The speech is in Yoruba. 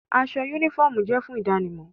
Awọn unifọmú jẹ fun idanimọ